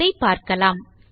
அதை பார்க்கலாம்